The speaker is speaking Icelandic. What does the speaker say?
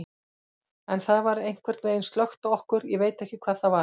En það var einhvern veginn slökkt á okkur, ég veit ekki hvað það var.